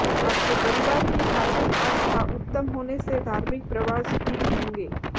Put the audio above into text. आपके परिवार की धार्मिक आस्था उत्तम होने से धार्मिक प्रवास भी होंगे